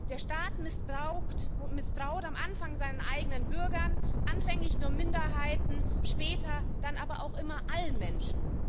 Der Staat misstraut am Anfang seinen eigenen Bürgern, anfänglich nur Minderheiten, später dann aber auch immer allen Menschen.